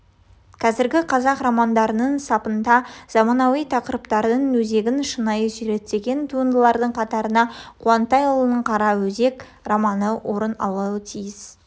қазіргі қазақ романдарының сапында заманауи тақырыптардың өзегін шынай суреттеген туындылардың қатарында қуантайұлының қара өзек романы да орын алуы тиіс